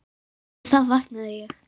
Við það vaknaði ég.